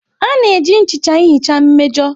A na-eji nchicha ihicha mmejọ.